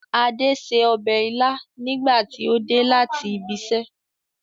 Ade ṣe ọbẹ̀ ilá nígbà tí ó dé láti ibiṣẹ́